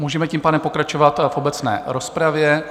Můžeme tím pádem pokračovat v obecné rozpravě.